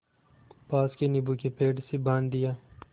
पास के नीबू के पेड़ से बाँध दिया